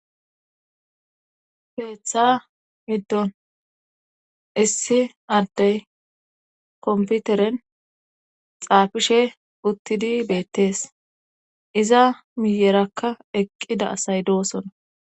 Keeththa middon issi addey komputeren xaafishe uttidi beettees iza miyerakka eqqida asay doosona